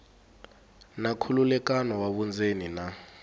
na nkhulukelano wa vundzeni na